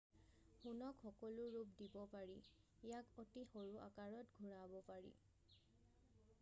সোণক সকলো ৰূপ দিব পাৰি ইয়াক অতি সৰু আকাৰত ঘূৰাব পাৰি